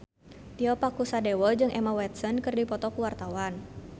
Tio Pakusadewo jeung Emma Watson keur dipoto ku wartawan